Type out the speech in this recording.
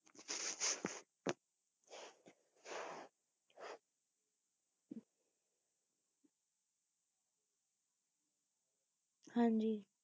ਹਾਂਜੀ